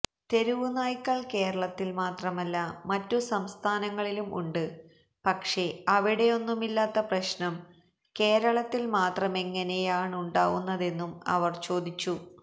തെരുവുനായ്കൾ കേരളത്തിൽ മാത്രമല്ല മറ്റു സംസ്ഥാനങ്ങളിലും ഉണ്ട് പക്ഷേ അവിടെയൊന്നുമില്ലാത്ത പ്രശ്നം കേരളത്തിൽ മാത്രമെങ്ങനെയാണുണ്ടാവുന്നതെന്നും അവർ ചോദിച്ചു